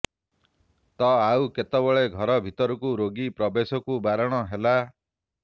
ତ ଆଉ କେତେବେଳେ ଘର ଭିତରକୁ ରୋଗୀ ପ୍ରବେଶକୁ ବାରଣ ହେଲା